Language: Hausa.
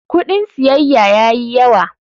Kudin siyayya ya yi yawa.